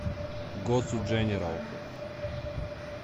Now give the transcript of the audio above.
госу дженерал